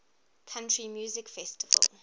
country music festival